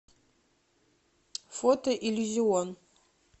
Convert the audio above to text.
фото иллюзион